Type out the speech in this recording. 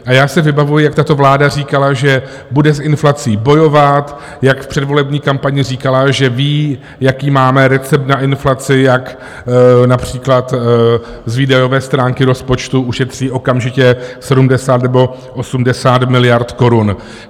A já si vybavuji, jak tato vláda říkala, že bude s inflací bojovat, jak v předvolební kampani říkala, že ví, jaký máme recept na inflaci, jak například z výdajové stránky rozpočtu ušetří okamžitě 70 nebo 80 miliard korun.